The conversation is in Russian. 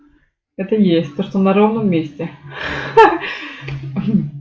это есть то что на ровном месте ха-ха